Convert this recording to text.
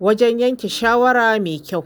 wajen yanke shawara mai kyau.